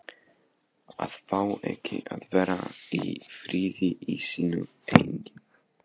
AÐ FÁ EKKI AÐ VERA Í FRIÐI Í SÍNU EIGIN